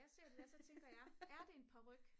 jeg ser det her og så tænker jeg er det en paryk